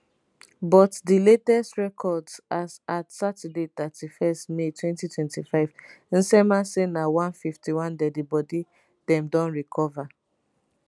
but di latest records as at saturday 31 may 2025 nsema say na 151 deadibody dem don recover